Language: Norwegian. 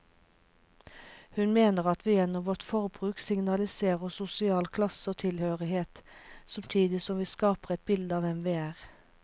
Hun mener at vi gjennom vårt forbruk signaliserer sosial klasse og tilhørighet, samtidig som vi skaper et bilde av hvem vi er.